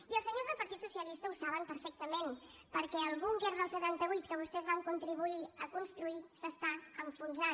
i els senyors del partit socialista ho saben perfectament perquè el búnquer del setanta vuit que vostès van contribuir a construir s’està enfonsant